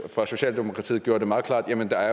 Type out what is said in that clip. fra socialdemokratiet gjorde det meget klart at der